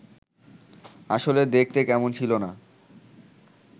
আসলে দেখতে কেমন ছিল না